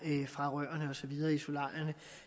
fra rørene og så videre i solarierne